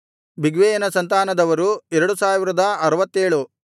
ಬಿಗ್ವೈಯನ ಸಂತಾನದವರು 2067